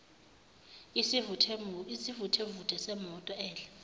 isivuthevuthe semoto edla